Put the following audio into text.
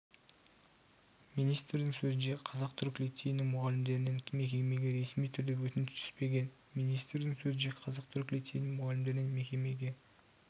министрдің сөзінше қазақ-түрік лицейінің мұғалімдерінен мекемеге ресми түрде өтініш түспеген министрдің сөзінше қазақ-түрік лицейінің мұғалімдерінен мекемеге